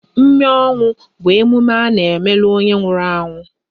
Mme ọnwụ bụ emume a n'emelu onye nwụrụ anwụ